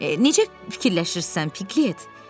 Necə fikirləşirsən, Piklət?